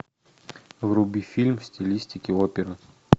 вруби фильм в стилистике опера